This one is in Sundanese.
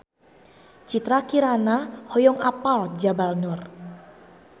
Citra Kirana hoyong apal Jabal Nur